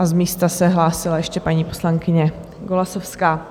A z místa se hlásila ještě paní poslankyně Golasowská.